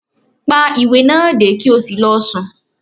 Pá ìwé náà dé, ki o sí lọ sùn!